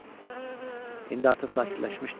İndi artıq sakitləşmişdi.